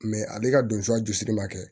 ale ka don a jurusiri ma kɛ